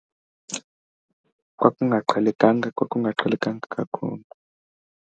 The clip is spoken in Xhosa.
Kwakungaqhelekanga, kwakungaqhelekanga kakhulu.